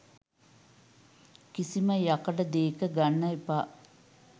කිසිම යකඩ දේක ගන්න එපා.